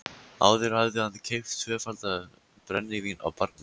Áður hafði hann keypt tvöfaldan brennivín á barnum.